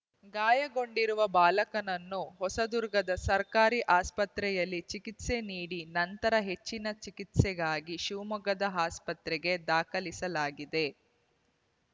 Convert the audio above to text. ಗಾಯಗೊಂಡಿರುವ ಬಾಲಕನನ್ನು ಹೊಸದುರ್ಗದ ಸರ್ಕಾರಿ ಆಸ್ಪತ್ರೆಯಲ್ಲಿ ಚಿಕಿತ್ಸೆ ನೀಡಿ ನಂತರ ಹೆಚ್ಚಿನ ಚಿಕಿತ್ಸೆಗಾಗಿ ಶಿವಮೊಗ್ಗದ ಆಸ್ಪತ್ರೆಗೆ ದಾಖಲಿಸಲಾಗಿದೆ